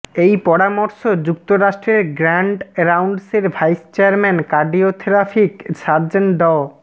এই পরামর্শ যুক্তরাষ্ট্রের গ্র্যান্ড রাউন্ডসের ভাইস চেয়ারম্যান কার্ডিওথোরাকিক সার্জন ড